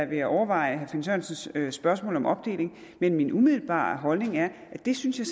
vil jeg overveje herre finn sørensens spørgsmål om opdeling men min umiddelbare holdning er at det synes jeg